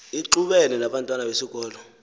ixubene nabantwana besikolo